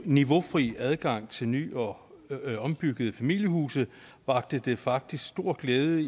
niveaufri adgang til ny og ombyggede familiehuse vakte det faktisk stor glæde i